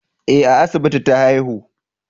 Eh a asibiti na haihu